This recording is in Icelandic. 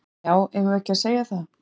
Já, eigum við ekki að segja það?